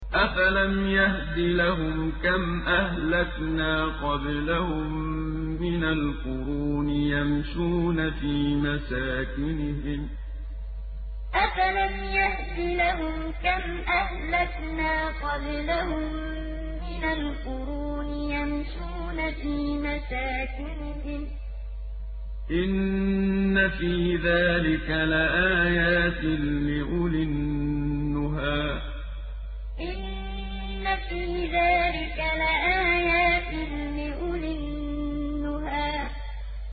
أَفَلَمْ يَهْدِ لَهُمْ كَمْ أَهْلَكْنَا قَبْلَهُم مِّنَ الْقُرُونِ يَمْشُونَ فِي مَسَاكِنِهِمْ ۗ إِنَّ فِي ذَٰلِكَ لَآيَاتٍ لِّأُولِي النُّهَىٰ أَفَلَمْ يَهْدِ لَهُمْ كَمْ أَهْلَكْنَا قَبْلَهُم مِّنَ الْقُرُونِ يَمْشُونَ فِي مَسَاكِنِهِمْ ۗ إِنَّ فِي ذَٰلِكَ لَآيَاتٍ لِّأُولِي النُّهَىٰ